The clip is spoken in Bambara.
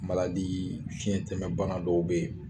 fiɲɛtɛmɛ bana dɔw bɛ yen